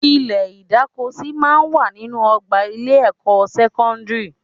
Ilẹ̀ ìdákosí máa ń wà nínú ọgbà ilé-ẹ̀kọ́ sẹ́kọ́ndírì